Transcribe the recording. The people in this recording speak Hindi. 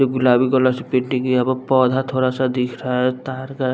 ये गुलाबी कलर से पेंटिंग यहां पे पौधा थोड़ा सा दिख रहा है तार का--